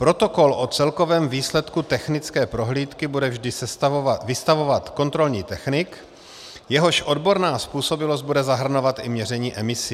Protokol o celkovém výsledku technické prohlídky bude vždy vystavovat kontrolní technik, jehož odborná způsobilost bude zahrnovat i měření emisí.